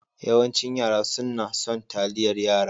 Yawancin yara sunna son taliyar yara.